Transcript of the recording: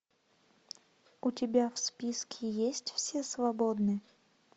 у тебя в списке есть все свободны